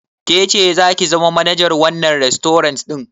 Ke ce zaki zama manajar wannan rastorant ɗin?